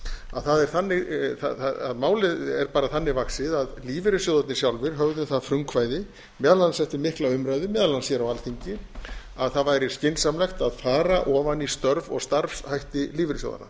að málið er bara þannig vaxið að lífeyrissjóðirnir sjálfir höfðu um það frumkvæði meðal annars eftir mikla umræðu meðal annars hér á alþingi að það væri skynsamlegt að fara ofan í störf og starfshætti lífeyrissjóðanna